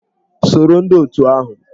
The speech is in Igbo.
Soro ndị otù ahụ!